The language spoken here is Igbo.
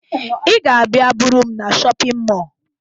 Ị ga-abịa buru m na shọpịn mọọ